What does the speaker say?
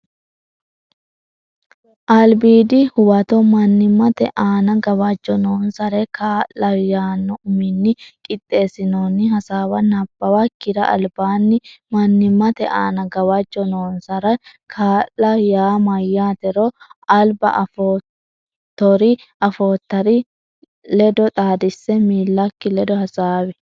Albiidi Huwato Mannimmate Aana Gawajjo Noonsare Kaa la yaanno uminni qixxeessinoonni hasaawa nabbawakkira albaanni Mannimmate Aana Gawajjo Noonsare Kaa la yaa mayyaatero alba afoottori afoottari ledo xaadisse miillakki ledo hasaawi.